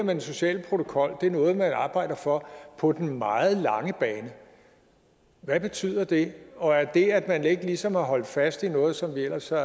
den sociale protokol er noget man arbejder for på den meget lange bane hvad betyder det og er det at man ikke ligesom har holdt fast i noget som vi ellers har